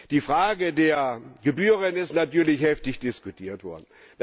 Die Frage der Gebühren ist natürlich heftig diskutiert worden.